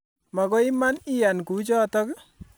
Magoi man iyan kuchotok